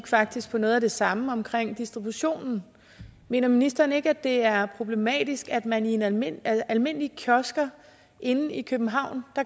faktisk på noget af det samme omkring distributionen mener ministeren ikke at det er problematisk at man i almindelige almindelige kiosker inde i københavn